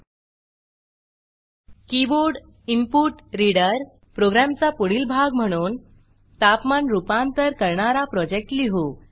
KeyboardInputReaderकीबोर्डइनपुटरीडर प्रोग्रॅमचा पुढील भाग म्हणून तापमान रूपांतर करणारा प्रोजेक्ट लिहू